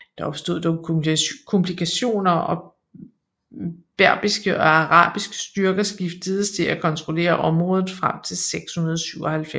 Der opstod dog komplikationer og berbiske og arabiske styrker skiftedes til at kontrollere området frem til 697